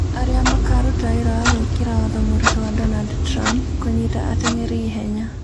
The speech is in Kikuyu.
Arĩa makaruta wĩra wa gwĩkĩra watho mũritũ wa Donald Trump, Kũnyita atengeri ĩhenya